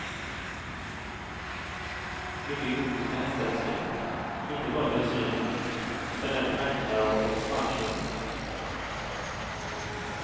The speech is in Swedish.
Mycket godis för hästälskare, inte bara dressyr och hopp utan även vagnparad och spannkörning.